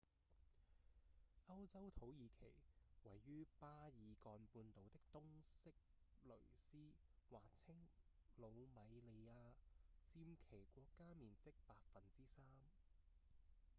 歐洲土耳其位於巴爾幹半島的東色雷斯或稱魯米利亞占其國家面積 3%